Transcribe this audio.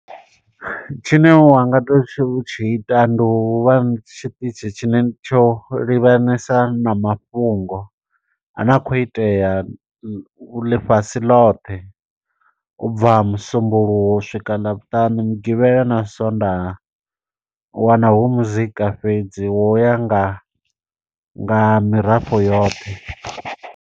Tshine wanga to tshiu tshi ita ndi u vha na tshiṱitzhi tshine tsho livhanesa na mafhungo. A ne a khou itea lu ḽifhasi ḽothe, ubva musumbuluwo u swika ḽavhuṱanu, mugivhela, na sondaha. U wana hu muzika fhedzi wo ya nga nga mirafho yoṱhe.